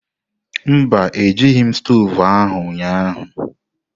Mba, Ejighị m stovu ahụ ụnyahụ.